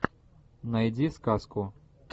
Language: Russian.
найди сказку